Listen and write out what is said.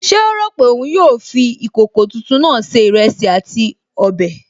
Ṣé ó rò pé òun yóò fi ìkòkò tuntun náà se ìrẹsì àti ọbẹ̀?